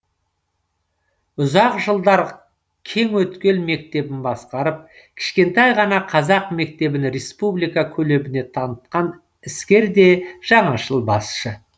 ұзақ жылдар кеңөткел мектебін басқарып кішкентай ғана қазақ мектебін республика көлеміне танытқан іскер де жаңашыл басшы